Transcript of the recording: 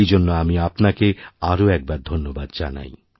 এই জন্য আমি আপনাকে আরওএকবার ধন্যবাদ জানাই